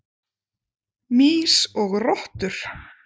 Mýs og rottur.